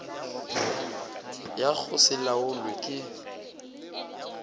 ya go se laolwe ke